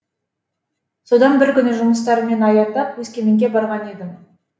содан бір күні жұмыстарыммен аяңдап өскеменге барған едім